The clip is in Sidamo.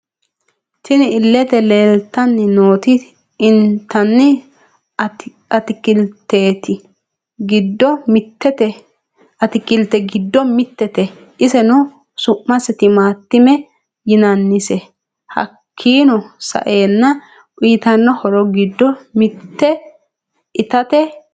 Tinni illete leelitanni nooti intani atikilitete giddo mittete iseno su'mse timaatime yinannise hakiino sa'eena uyitano horro giddo mitte itatte kaalitano.